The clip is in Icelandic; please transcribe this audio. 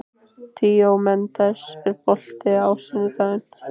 Díómedes, er bolti á sunnudaginn?